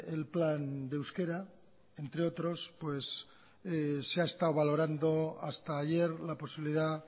el plan de euskera entre otros pues se ha estado valorando hasta ayer la posibilidad